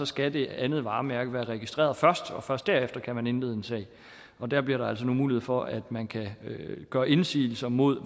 skal det andet varemærke være registreret først og først derefter kan man indlede en sag der bliver der altså nu mulighed for at man kan gøre indsigelse mod